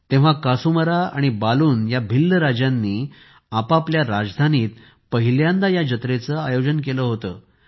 तेव्हा कासूमरा आणि बालून या भिल्ल राजांनी आपापल्या राजधानीत पहिल्यांदा या जत्रेचे आयोजन केले होते